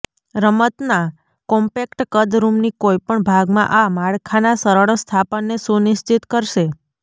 રમતના કોમ્પેક્ટ કદ રૂમની કોઈપણ ભાગમાં આ માળખાના સરળ સ્થાપનને સુનિશ્ચિત કરશે